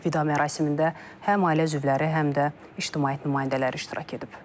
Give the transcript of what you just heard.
Vida mərasimində həm ailə üzvləri, həm də ictimaiyyət nümayəndələri iştirak edib.